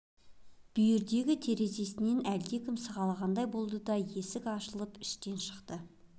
бүйірдегі терезесінен әлдекім сығалағандай болды да есік ашылып іштен шықты